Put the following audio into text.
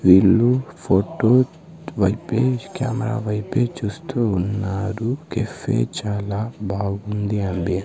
వీళ్ళు ఫోటో వైపే కెమరా వైపే చూస్తూ ఉన్నారు కేఫ్ చాలా బాగుంది అండి.